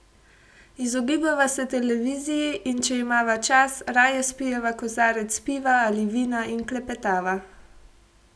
Izogibava se televiziji, in če imava čas, raje spijeva kozarec piva ali vina in klepetava.